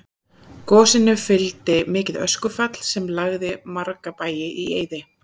gosinu fylgdi mikið öskufall sem lagði marga bæi í eyði